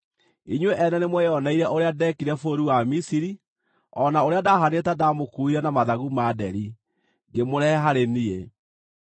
‘Inyuĩ ene nĩmweyoneire ũrĩa Ndeekire bũrũri wa Misiri, o na ũrĩa ndahaanire ta ndamũkuuire na mathagu ma nderi, ngĩmũrehe harĩ niĩ.